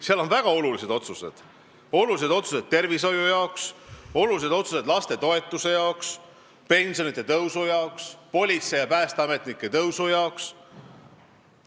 Seal on tehtud väga olulised otsused, olulised otsused tervishoiu jaoks, olulised otsused lastetoetuste jaoks, pensionide tõusu jaoks, politseinike ja päästeametnike palga tõusu jaoks.